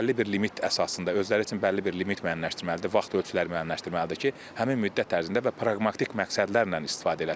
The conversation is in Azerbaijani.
Bəlli bir limit əsasında özləri üçün bəlli bir limit müəyyənləşdirməlidir, vaxt ölçüləri müəyyənləşdirməlidir ki, həmin müddət ərzində və praqmatik məqsədlərlə istifadə eləsin.